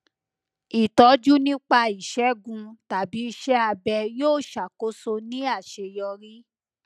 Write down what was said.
ìtọjú nípa ìṣẹgun tàbí iṣẹ abẹ yóò ṣàkóso ní àṣeyọrí